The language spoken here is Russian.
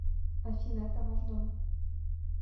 афина это ваш дом